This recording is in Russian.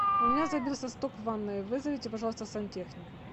у меня забился сток в ванной вызовите пожалуйста сантехника